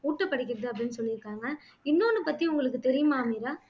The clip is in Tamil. ஊட்டப்படுகிறது அப்படின்னு சொல்லிருக்காங்கஇன்னோன்னு பத்தி உங்களுக்கு தெரியுமா மீரா